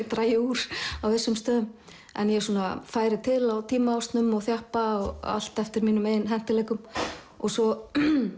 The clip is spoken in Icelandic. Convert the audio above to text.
dragi úr á vissum stöðum en ég færi til á tímaásnum og þjappa allt eftir mínum hentugleikum og svo